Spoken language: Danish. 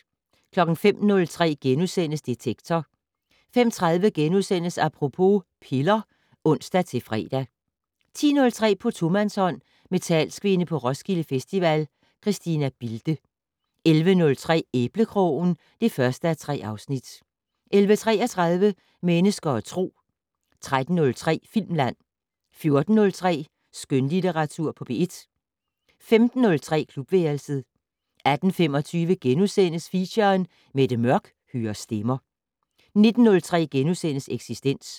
05:03: Detektor * 05:30: Apropos - piller *(ons-fre) 10:03: På tomandshånd med talskvinde på Roskilde Festival, Christina Bilde 11:03: Æblekrogen (1:3) 11:33: Mennesker og Tro 13:03: Filmland 14:03: Skønlitteratur på P1 15:03: Klubværelset 18:25: Feature: Mette Mørch hører stemmer * 19:03: Eksistens *